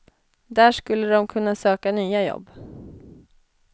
Där skulle de kunna söka nya jobb.